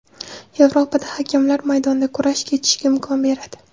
Yevropada hakamlar maydonda kurash kechishiga imkon beradi.